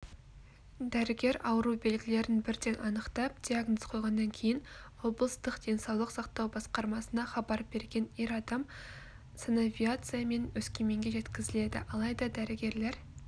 дәрігер ауру белгілерін бірден анықтап диагноз қойғаннан кейін облыстық денсаулық сақтау басқармасына хабар берген ер адам санавиациямен өскеменге жеткізіледі алайда дәрігерлер